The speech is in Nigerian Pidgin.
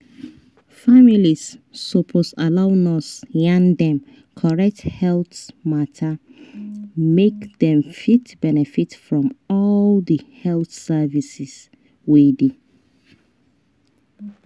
families suppose allow nurse yarn dem correct health matter make dem fit benefit from all di health services wey dey.